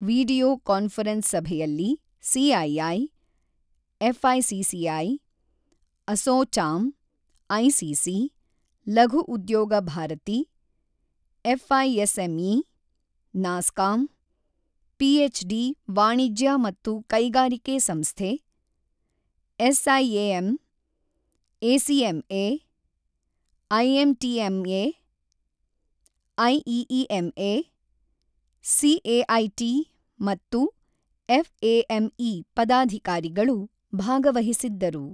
Video conference ಸಭೆಯಲ್ಲಿ CII, FICCI, ASSOCHAM, ICC, Laghu Udyog Bharati, FISME, NASSCOM, PHD ವಾಣಿಜ್ಯ ಮತ್ತು ಕೈಗಾರಿಕೆ ಸಂಸ್ಥೆ, SIAM, ACMA, IMTMA, IEEMA, CAIT ಮತ್ತು ಎಫ್ಎಎಂಇ ಪದಾಧಿಕಾರಿಗಳು ಭಾಗವಹಿಸಿದ್ದರು.